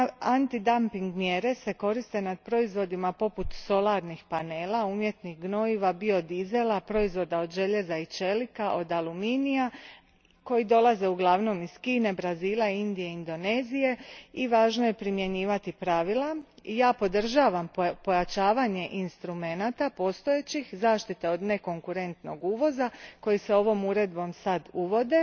Antidampinške mjere se koriste na proizvodima poput solarnih panela, umjetnih gnojiva, biodizela, proizvoda od željeza i čelika, od aluminija koji dolaze uglavnom iz Kine, Brazila, Indije i Indonezije i važno je primjenjivati pravila i ja podržavam pojačavanje instrumenata postojećih zaštita od nekonkurentnog uvoza koje se ovo uredbom sad uvode,